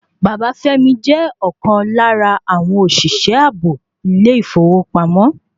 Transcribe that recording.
Bàbá Fẹ́mi jẹ́ ọ̀kan lára àwọn òṣìṣẹ́ ààbò ilé ìfowópamọ́